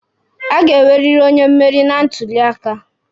A ga-enweriri onye mmeri na ntuli aka.